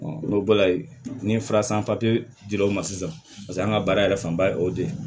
n'o bɔra ye ni fura san papiye dir'o ma sisan paseke an ka baara yɛrɛ fanba ye o de ye